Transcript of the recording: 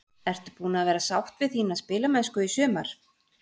Ertu búin að vera sátt við þína spilamennsku í sumar?